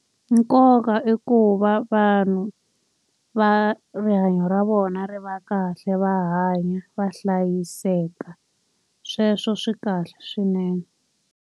Nkoka i ku va vanhu va rihanyo ra vona ri va kahle va hanya va hlayiseka. Sweswo swi kahle swinene.